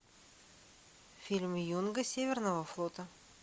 фильм юнга северного флота